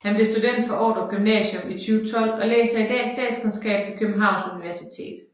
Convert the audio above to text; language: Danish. Han blev student fra Ordrup Gymnasium i 2012 og læser i dag statskundskab ved Københavns Universitet